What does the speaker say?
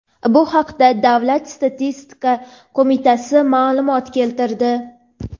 Bu haqda Davlat statistika qo‘mitasi ma’lumot keltirdi.